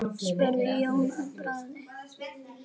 spurði Jón að bragði.